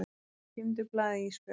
Geymdu blaðið Ísbjörg.